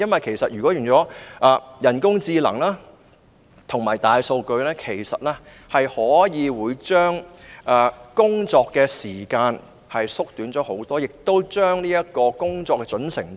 利用人工智能及大數據不但可以大大縮短工作時間，亦可以大大提高工作的準繩度。